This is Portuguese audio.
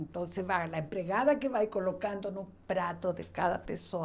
Então, se vai. A empregada que vai colocando no prato de cada pessoa.